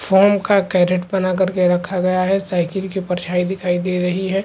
Foam का crate बना करके रखा गया है साइकिल की परछाई दिखाई दे रही है।